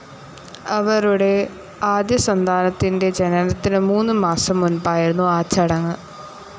അവരുടെ ആദ്യസന്താനത്തിൻ്റെ ജനനത്തിനു മൂന്നു മാസം മുൻപായിരുന്നു ആ ചടങ്ങ്.